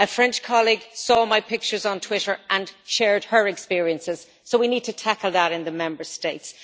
A French colleague saw my pictures on Twitter and shared her experiences, so we need to tackle that in the Member States.